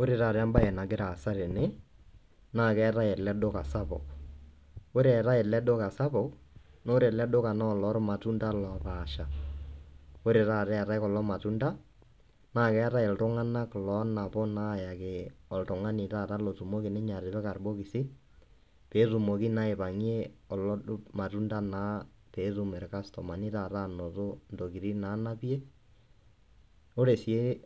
Ore taata ebae nagira aasa tene naa keetae ele duka sapuk. Ore eetae ele duka sapuk naa ore ele duka naa oloo irmatunda loopasha. Ore taata eetae kulo matunda naa keetae iltunganak onapu naa ayaki oltungani otumoki taata atipika irbokizi peetumoki naa aipangie kulo irmatunda naa petumoki orkastomani anoto intokitin nanapie. Ore sii